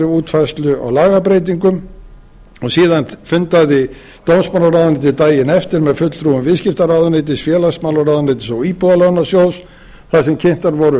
útfærslu á lagabreytingum og síðan fundaði dómsmálaráðuneytið daginn eftir með fulltrúum viðskiptaráðuneytis félagsmálaráðuneytis og íbúðalánasjóðs þar sem kynntar voru